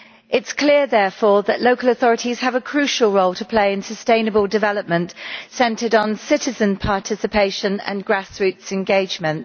It is clear, therefore, that local authorities have a crucial role to play in sustainable development, centred on citizen participation and grassroots engagement.